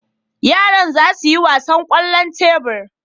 Yaran za su yi wasan kwallon tebur.